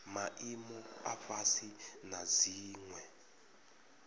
maimo a fhasi na dziwe